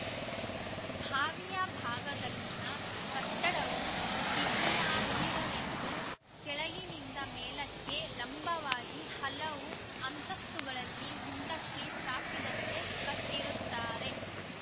ಬಾವಿಯ ಭಾಗದಲ್ಲಿನ ಕಟ್ಟಡವು ಬಿಗಿಯಾಗಿರಲೆಂದು ಕೆಳಗಿನಿಂದ ಮೇಲಕ್ಕೆ ಲಂಬವಾಗಿ ಹಲವು ಅಂತಸ್ತುಗಳಲ್ಲಿ ಹಿಂದಕ್ಕೆ ಚಾಚಿದಂತೆ ಕಟ್ಟಿರುತ್ತಾರೆ